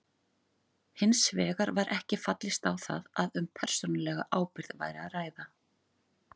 Hins vegar var ekki fallist á það að um persónulega ábyrgð væri að ræða.